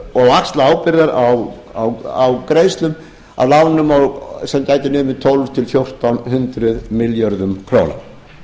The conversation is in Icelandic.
og axla ábyrgðir á greiðslum sem gætu numið tólf hundruð til fjórtán hundruð milljörðum